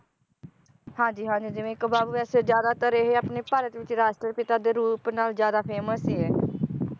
ਹਾਂਜੀ ਹਾਂਜੀ ਜਿਵੇ ਇਕ ਬਾਪੂ ਵੈਸੇ ਜ਼ਆਦਾਤਰ ਇਹ ਆਪਣੇ ਭਾਰਤ ਵਿਚ ਰਾਸ਼ਟਰ ਪਿਤਾ ਦੇ ਰੂਪ ਨਾਲ ਜ਼ਿਆਦਾ famous ਸੀ ਇਹ